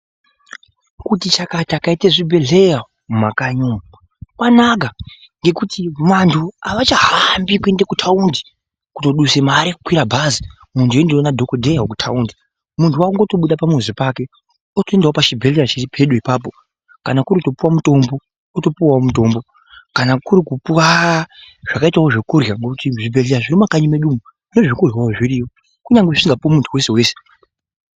Kuti chakata kwaite zvibhebhelhleya mumakanyi umu kwanaka ngekuti vantu avachahambi kuende kutaundi kutoduse mare kukwira bhazi muntu weindoona dhokodheya wekutaundi, muntu wakutobude pamuzi pake wotoendawo pachibhehleya chiri pedo ipapo kana kuri kupiwe mutombo otopuwa mutombo, kana kuri kupuwa zvakaitawo zvekurya, ngokuti muzvibhehleya zviri mumakanyi mwedu umu nezvekuryawo zviriyo kunyange zvisingapuwi muntu wesewese.